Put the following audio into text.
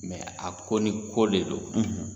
Mɛ a ko ni ko de do